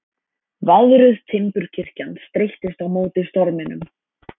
Veðruð timburkirkjan streittist á móti storminum.